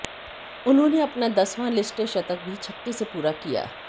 उन्होंने अपना दसवां लिस्ट ए शतक भी छक्के से पूरा किया